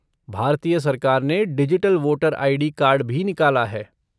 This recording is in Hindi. भारतीय सरकार ने डिजिटल वोटर आई.डी. कार्ड भी निकाला है।